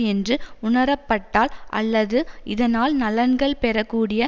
என்று உணரப்பட்டால் அல்லது இதனால் நலன்கள் பெற கூடிய